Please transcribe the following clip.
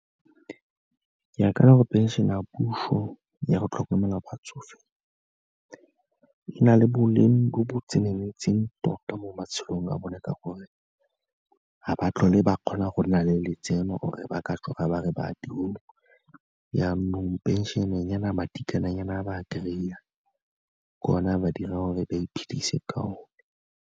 Ke akanya gore phenšene ya puso ya go tlhokomela batsofe, e na le boleng jo bo tseneletseng tota mo matshelong a bone ka gore, ga ba tlhole ba kgona go nna le letseno or-e ba ka tsoga ba re ba ya tirong, jaanong phenšenenyana, madinyana a ba kry-ang ke ona a ba dirang gore ba iphedise ka one.